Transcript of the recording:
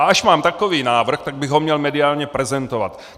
A až mám takový návrh, tak bych ho měl mediálně prezentovat.